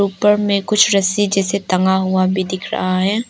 ऊपर में कुछ रस्सी जैसे टंगा हुआ भी दिख रहा है।